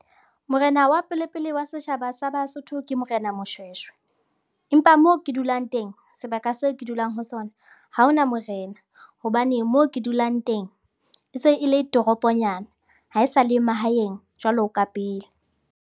Morena wa pele-pele wa setjhaba sa Basotho ke Morena Moshweshwe empa moo ke dulang teng, sebaka seo ke dulang ho sona, ha ho na morena hobane moo ke dulang teng e se e le toroponyana haesale mahaeng jwalo ka pele.